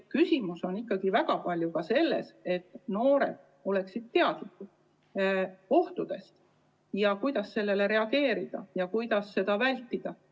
Küsimus on ikkagi väga palju ka selles, et noored oleksid ohtudest teadlikud ning oskaksid nendele reageerida ja neid vältida.